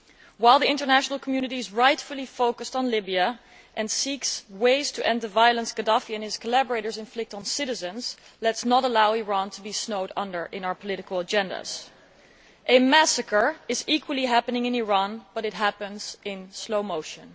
While the international community is rightly focused on Libya and seeks ways to end the violence Gaddafi and his collaborators inflict on citizens, let us not allow Iran to be snowed under in our political agendas. A massacre is also happening in Iran, but it happens in slow motion.